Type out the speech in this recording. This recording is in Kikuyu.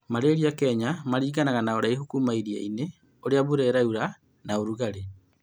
Malaria kenya maringanaga na ũraihu kuuma iria-inĩ, ũrĩa mbura yuraga, na rugarĩ